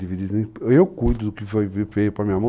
Eu cuido do que veio para a minha mão.